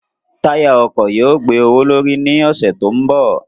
Táyà ọkọ̀ yóò gbé owó l'órí ní ọ̀sẹ̀ tó ń bọ̀.